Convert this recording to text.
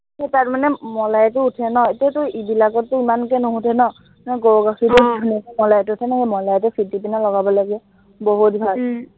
সেই তাত মানে মলাইটো উঠে ন, এতিয়াটো ইবিলাকতটো ইমানকে নুওঠে ন, সেই গৰু গাখীৰটো উম আহ ধুনীয়াকে মলাইটো উঠে ন, সেই মলাইটো ফেটি কেনে লগাব লাগে বহুত ভাল উম